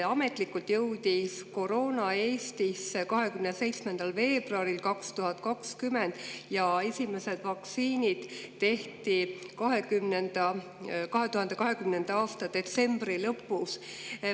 Ametlikult jõudis koroona Eestisse 27. veebruaril 2020 ja esimesed vaktsiinid tehti 2020. aasta detsembri lõpus.